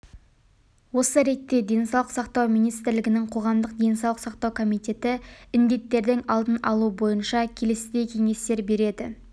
осы ретте денсаулық сақтау министрлігінің қоғамдық денсаулық сақтау комитеті індеттердің алдын алу бойынша келесідей кеңестер береді